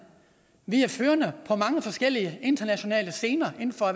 vi er førende på mange forskellige internationale scener inden for